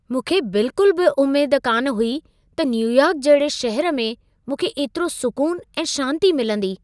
मूंखे बिल्कुल बि उमेद कान हुई त न्यूयॉर्क जहिड़े शहर में मूंखे एतिरो सुकून ऐं शांती मिलंदी।